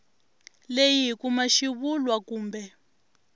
leyi hi kuma xivulwa kumbe